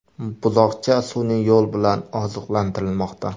Buzoqcha sun’iy yo‘l bilan oziqlantirilmoqda.